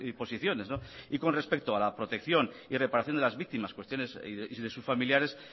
posiciones y con respecto a la protección y reparación de las víctimas y de sus familiares